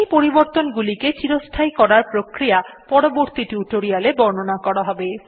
এই পরিবর্তন গুলিকে চিরস্থায়ী করার প্রক্রিয়া পরবর্তী টিউটোরিয়াল এ বর্ণনা করা হবে